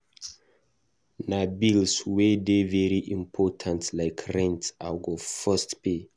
Na bills wey dey very important like rent I go first pay.